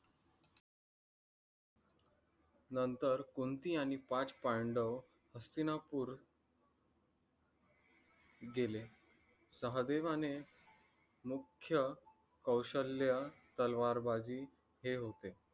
नंतर कुंती आणि पाच पांडव हस्तिनापुर गेले. सहदेवाने मुख्य कौशल्य तलवार बाजी हे होते.